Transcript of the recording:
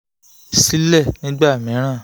sílẹ̀ nìgbà mìíràn